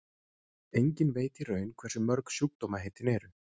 Enginn veit í raun hversu mörg sjúkdómaheitin eru.